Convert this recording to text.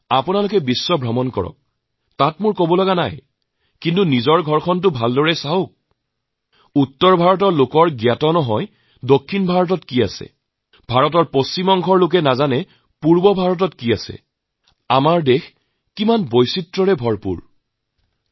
আপোনালোকে বিদেশলৈ যাওঁক তাত মোৰ কোন আপত্তি নাই কিন্তু কেতিয়াবা কেতিয়াবা নিজৰ ঘৰটোকো লক্ষ্য কৰক উত্তৰ ভাৰতৰ মানুহৈ নাজানে দক্ষিণ ভাৰতত কি আছে পশ্চিম ভাৰতৰ মানুহে নাজানে যে পূৰ্ব ভাৰতত কি আছে আমাৰ এই দেশ যে কিমান বৈচিত্ৰতাপূৰ্ণ